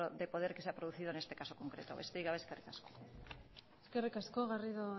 de poder que se ha producido en este caso concreto besterik gabe eskerrik asko eskerrik asko garrido